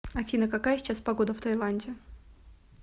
афина какая сейчас погода в тайланде